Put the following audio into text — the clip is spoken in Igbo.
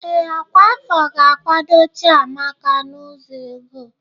Ee, ọkwa afọ ga-akwado Chiamaka n'ụzọ ego.